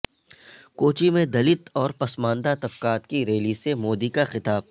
کوچی میں دلت اور پسماندہ طبقات کی ریلی سے مودی کا خطاب